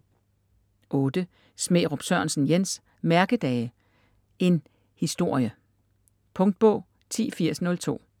Smærup Sørensen, Jens: Mærkedage: en historie Punktbog 108002